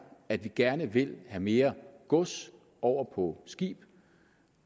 at vi gerne vil have mere gods over på skib